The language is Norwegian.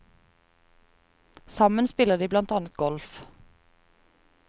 Sammen spiller de blant annet golf.